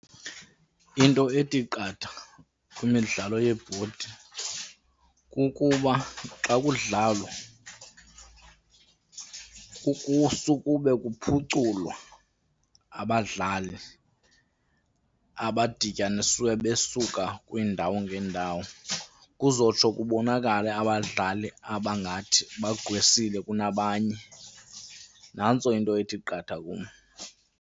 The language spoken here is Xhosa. Into ethi qatha kwimidlalo yebhodi kukuba xa kudlalwa sukube kuphuculwa abadlali abadityaniswe besuka kwiindawo ngeendawo kuzotsho kubonakale abadlali abangathi bagqwesile kunabanye. Nantso into ethi qatha kum.